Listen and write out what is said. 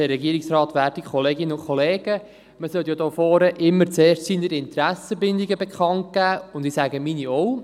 Man sollte ja hier vorne immer zuerst seine Interessenbindungen bekannt geben, und ich sage meine auch.